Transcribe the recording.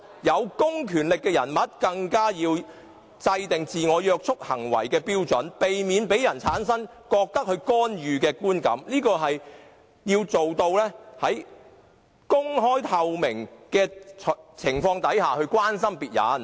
有公權力的人，更要制訂自我約束行為的標準，避免讓人產生他們在作出干預的觀感；他們要做到的是，在公開和透明的情況下關心別人。